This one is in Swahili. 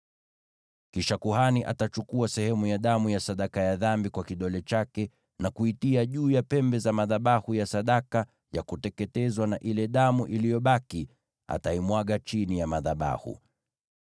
Kisha kuhani atachukua sehemu ya damu ya sadaka ya dhambi kwa kidole chake na kuitia juu ya pembe za madhabahu ya sadaka ya kuteketezwa, na ile damu iliyobaki ataimwaga chini ya madhabahu.